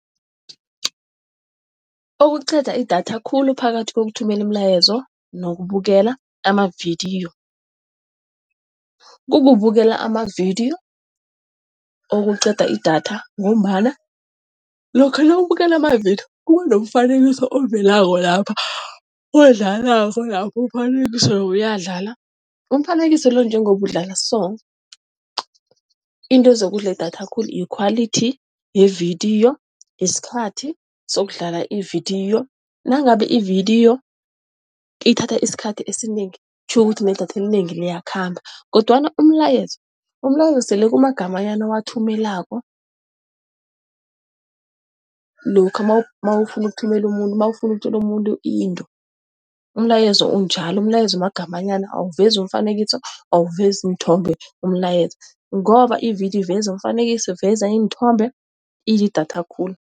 Okuqeda idatha khulu phakathi kokuthumelana umlayezo nokubukela amavidiyo, kukubukela amavidiyo okuqeda idatha ngombana lokha nawubukela amavidiyo kuba nomfanekiso ovelako lapha odlalako lapha umfanekiso loya uyadlala. Umfanekiso lo njengoba udlala so, into ezokudla idatha khulu yikhwalithi yevidiyo, yisikhathi sokudlala ividiyo. Nangabe ividiyo ithatha isikhathi esinengi kutjho ukuthi nedatha elinengi liyakhamba kodwana umlayezo, umlayezo sele kumagamanyana owathumelako. Lokha nawufuna ukuthumela umuntu nawufuna ukutjela umuntu into, umlayezo unjalo. Umlayezo magamanyana awuvezi iimfanekiso, awuvezi iinthombe umlayezo ngoba ividiyo iveza umfanekiso iveza iinthombe, idla idatha khulu.